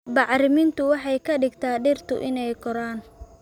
Bacrintu waxay ka dhigtaa dhirta inay koraan